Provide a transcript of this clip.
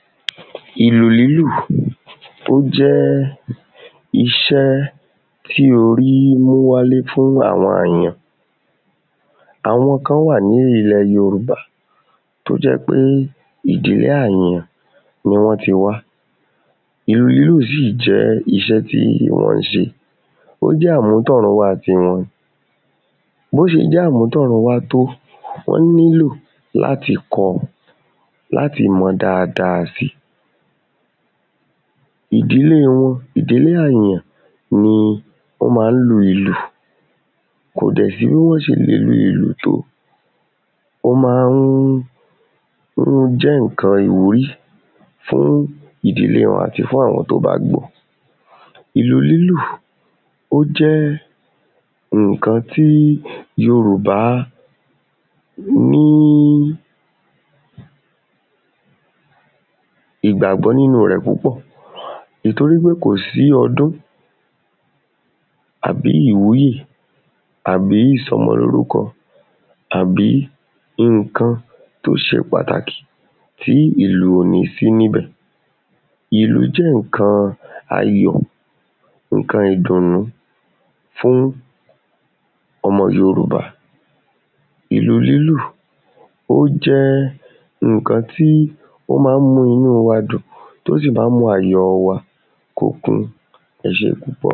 ìlù lílù jẹ́ iṣẹ́ tí orí mú wáyé fún àwọn àyàn, àwọn kan wà ní ilẹ̀ yorùbá tí ó jẹ́ pé ìdílé àyàn ni wọ́n ti wá ìlù lílù sì jẹ́ iṣẹ́ tí wọ́n ń ṣe, ó jẹ́ àmútọ̀runwá tiwọn bó ṣe jẹ́ àmútọ̀runwá tó, wọ́n nílò láti kọ́ ọ, láti mọ̀ ọ́ dáadáa si ìdílé wọn, ìdílé àyàn ni wọ́n ma á lu ilù kò dẹ̀ sí bí wọ́n ṣe lè lu ìlù tó, ó jẹ́ ǹkan ìwúrí fún ìdílé wọn, àti fún àwọn ẹni tó bá gbọ́ ọ ìlù lílù ó jẹ́ ǹkan tí yòrùbá ní ìgbàgbọ́ nínu rẹ̀ púpọ̀, nítorí pé kò sí ọdún àbí ìwúye àbí ìsọmọlórúkọ àbí ǹkan tó ṣe pàtàkì tí ìlù ò ní sí níbẹ̀ ìlú jẹ́ ǹkan ayọ̀, ǹkan ìdùnú fún ọmọ yorùbá, ìlù lílù ó jẹ́ ǹkan tí ó ma ń mú inú wa dùn, tó sì ma ń mú ayọ̀ wa kó kún ẹ ṣé púpọ̀